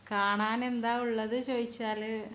കാണാൻ എന്താ ഉള്ളത് ചോദിച്ചാൽ